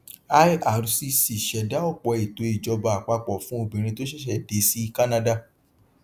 ircc ṣẹdá ọpọ ètò ìjọba àpapọ fún obìnrin tó ṣẹṣẹ dé sí kánádà